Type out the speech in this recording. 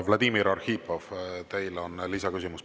Vladimir Arhipov, teil on lisaküsimus.